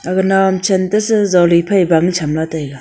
aga naw am chen te se jole phai bang cham la taiga.